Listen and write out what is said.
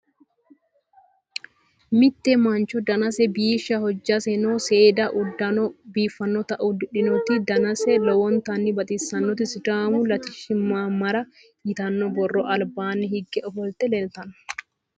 Mitte mancho danase biishsha hojjaseno seeda uddano biiffannota uddidhinoti danase lowontanni baxissannoti Sidaamu Latishshu Maamara yitanno borrora albaanni higge ofolte leellitanno.